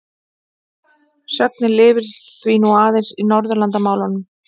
Sögnin lifir því nú aðeins í Norðurlandamálum.